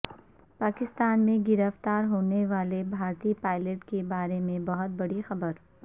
پاکستان میں گرفتا ر ہونے والے بھارتی پائلٹ کے بارے میں بہت بڑی خبر